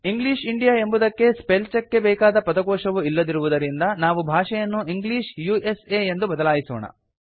English India ಎಂಬುದಕ್ಕೆ spell check ಗೆ ಬೇಕಾದ ಪದಕೋಶವು ಇಲ್ಲದಿರುವುದರಿಂದ ನಾವು ಭಾಷೆಯನ್ನು ಇಂಗ್ಲಿಷ್ ಉಸಾ ಗೆ ಬದಲಾಯಿಸೋಣ